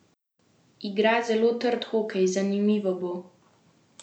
Igra zelo trd hokej, zanimivo bo.